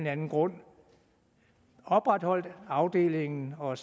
anden grund opretholdt afdelingen og